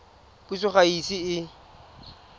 puso ga e ise e